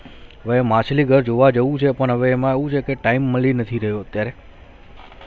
હવે માછલી ઘર જોવા જાઉ છે પર હવે એમાં એવુ છે કે time મળી નથી રહીયુ અત્યારે